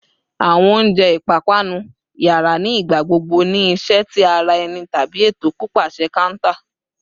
Awọn ilẹ ounjẹ ipapanu yara ni igbagbogbo ni iṣẹ ti ara ẹni tabi eto pipaṣẹ counter